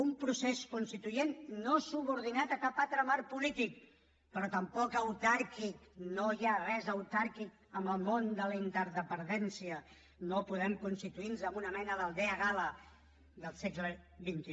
un procés constituent no subordinat a cap altre marc polític però tampoc autàrquic no hi ha res d’autàrquic en el món de la interdependència no podem constituir nos en una mena d’aldea gal·la del segle xxi